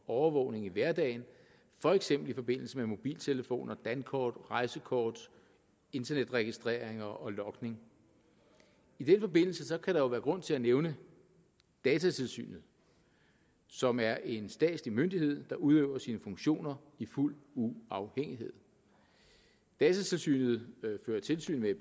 og overvågning i hverdagen for eksempel i forbindelse med mobiltelefoner dankort rejsekort internetregistreringer og logning i den forbindelse kan der jo være grund til at nævne datatilsynet som er en statslig myndighed der udøver sine funktioner i fuld uafhængighed datatilsynet fører tilsyn med